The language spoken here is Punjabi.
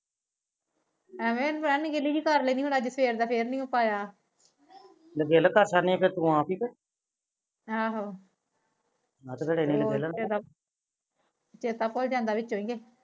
ਐਵੈ ਹੁਣ ਸਵੇਰ ਦਾ ਫੇਰ ਨੀ ਆਇਆ ਆਹੋ ਚੇਤਾ ਭੁਲ ਜਾਂਦਾ ਵਿੱਚ ਵਿੱਚ